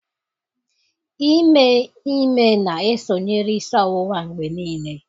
Ime ime na-esonyere isi ọwụwa mgbe niile